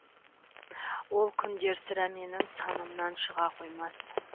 ол күндер сірә менің санамнан шыға қоймас